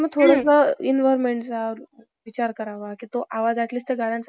Ferguson सारख्या नामांकित संस्थेचे निमंत्रण आपण केवळ BA-BA आहोत. तेव्हा ते आव्हन पेलेत,